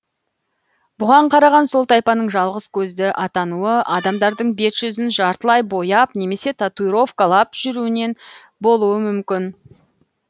бұған қараған сол тайпаның жалғыз көзді атануы адамдардың бет жүзін жартылай бояп немесе татуировкалап жүруінен болуы мүмкін